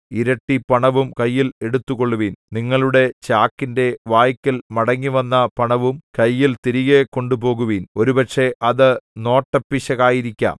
ഇരട്ടിപണവും കയ്യിൽ എടുത്തുകൊള്ളുവിൻ നിങ്ങളുടെ ചാക്കിന്റെ വായ്ക്കൽ മടങ്ങിവന്ന പണവും കയ്യിൽ തിരികെ കൊണ്ടുപോകുവിൻ ഒരുപക്ഷേ അത് നോട്ടപ്പിശകായിരിക്കാം